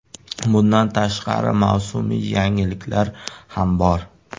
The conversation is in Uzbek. Bundan tashqari, mavsumiy yangiliklar ham bor.